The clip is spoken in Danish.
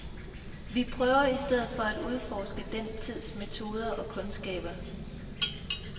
Vi prøver os i stedet for at udforske den tids metoder og kundskaber.